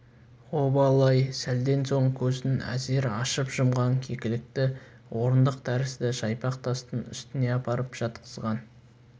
обалы-ай сәлден соң көзін әзер ашып-жұмған кекілікті орындық тәрізді жайпақ тастың үстіне апарып жатқызған